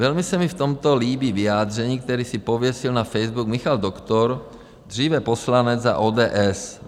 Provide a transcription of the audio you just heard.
Velmi se mi v tomto líbí vyjádření, které si pověsil na Facebook Michal Doktor, dříve poslanec za ODS.